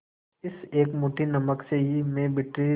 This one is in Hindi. इस एक मुट्ठी नमक से मैं ब्रिटिश